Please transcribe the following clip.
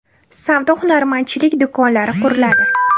Savdo-hunarmandchilik do‘konlari quriladi.